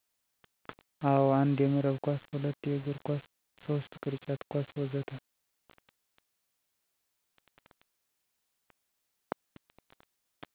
አዎ 1. የመረብ ኳስ 2. የእግር ኳስ 3. ቅርጫት ኳስ ወዘተ